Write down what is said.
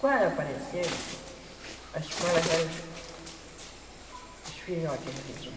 Quando apareceu, a escola já era os os filhotes do que tinha.